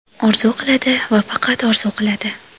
Orzu qiladi, va faqat orzu qiladi.